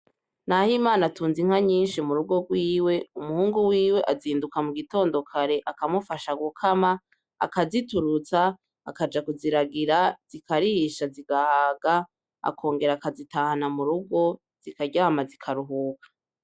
Nahimana atunze inka nyinshi mu rugo rwiwe, umuhungu wiwe azinduka mu gitondo kare akamufasha gukama, akaziturutsa, akaja kuziragira zikarisha zigahaga, akongera akazitahana mu rugo zikaryama zikaruhuka.